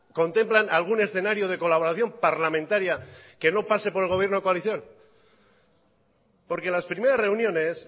contemplan algún escenario de colaboración parlamentaria que no pase por el gobierno de coalición porque las primeras reuniones